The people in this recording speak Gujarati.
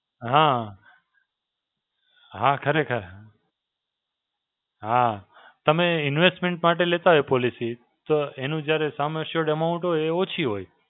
હાં, હાં ખરેખર. હાં તમે investment માટે લેતા હોય policy તો એનું જ્યારે Sum Assured Amount હોય એ ઓછી હોય.